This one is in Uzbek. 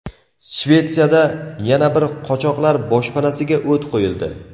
Shvetsiyada yana bir qochoqlar boshpanasiga o‘t qo‘yildi.